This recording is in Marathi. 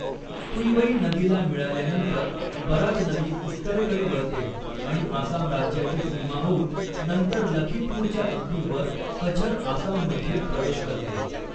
तुईवई नदीला मिळाल्यानंतर बराक नदी उत्तरेकडे वळते आणि आसाम राज्याची सीमा होऊन नंतर लखीपूरच्या अगदी वर कछर आसाममध्ये प्रवेश करते.